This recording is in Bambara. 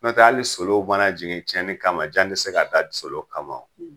Nɔntɛ hali ni solo mana jigin tiɲɛni kama jan te se ka da solo kama o.